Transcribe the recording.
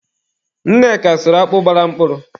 Nneka sụrụ akpụ gbara mkpụrụ.